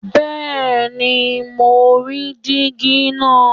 Bẹ́ẹ̀ni mo ń rí díígí náà